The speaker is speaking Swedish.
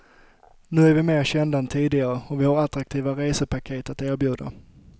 Nu är vi mer kända än tidigare, och vi har attraktiva resepaket att erbjuda.